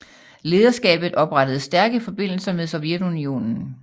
Lederskabet oprettede stærke forbindelser med Sovjetunionen